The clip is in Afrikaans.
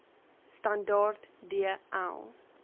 standaard d l